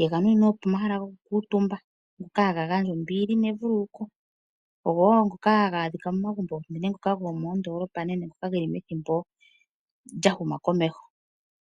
yeganunina pomahala gokukuutumba ngoka haga gandja ombili nevululuko. Ogo wo ngoka haga adhika momagumbo gomoondoolopa nenge ngoka geli methimbo lyahuma komeho.